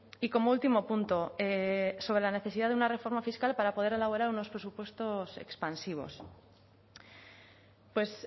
y como último punto sobre la necesidad de una reforma fiscal para poder elaborar unos presupuestos expansivos pues